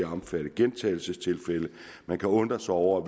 omfatte gentagelsestilfælde man kan undre sig over